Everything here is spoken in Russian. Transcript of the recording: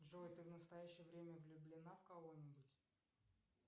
джой ты в настоящее время влюблена в кого нибудь